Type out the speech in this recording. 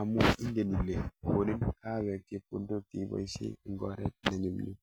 amu ingen ile konin kahawek chepkondok cheiboishe eng oret nenyumnyum.